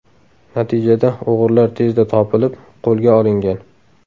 Natijada o‘g‘rilar tezda topilib, qo‘lga olingan.